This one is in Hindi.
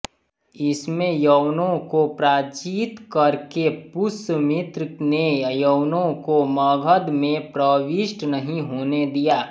इसमें यवनों को पराजित करके पुष्यमित्र ने यवनों को मगध में प्रविष्ट नहीं होने दिया